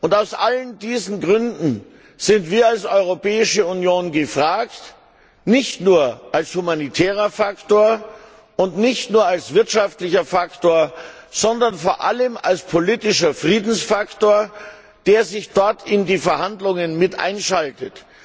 Aus allen diesen Gründen sind wir als Europäische Union gefragt, nicht nur als humanitärer Faktor und nicht nur als wirtschaftlicher Faktor, sondern vor allem als politischer Friedensfaktor, der sich dort in die Verhandlungen mit einschaltet.